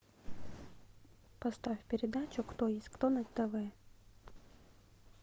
поставь передачу кто есть кто на тв